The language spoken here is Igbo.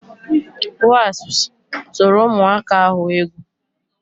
Wasps tụrụ ụmụaka ahụ egwu